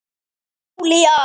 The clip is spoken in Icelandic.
Og Júlía